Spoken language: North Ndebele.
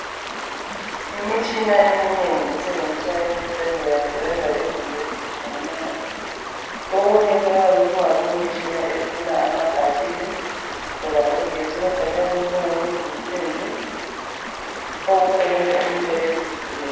Imitshina eminengi esebenziswa ezibhedlela isebenza izinto ezitshiyeneyo okunye kuyabe kungasomitshina efuna amabhathili loba ugetsi kodwa kuyabe kungo kuzinsimbi okusebenza into ezihlukeneyo